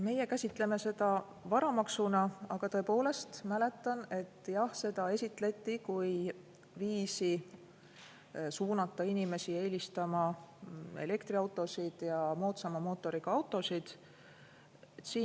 Meie käsitleme seda varamaksuna, aga tõepoolest mäletan, et jah, seda esitleti kui viisi suunata inimesi eelistama elektriautosid ja moodsama mootoriga autosid.